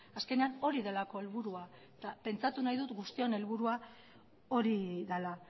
azkenean hori delako helburua eta pentsatu nahi dut guztion helburua hori dela